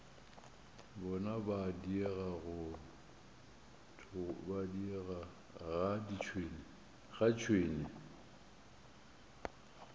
bona go diega ga tšhwene